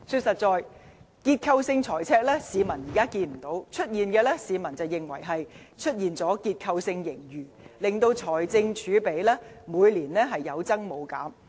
誠然，市民現在看不到結構性財赤，但卻認為出現結構性盈餘，令財政儲備每年有增無減。